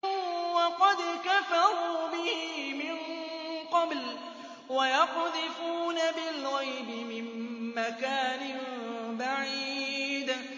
وَقَدْ كَفَرُوا بِهِ مِن قَبْلُ ۖ وَيَقْذِفُونَ بِالْغَيْبِ مِن مَّكَانٍ بَعِيدٍ